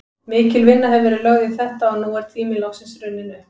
Mikil vinna hefur verið lögð í þetta og nú er tíminn loksins runninn upp.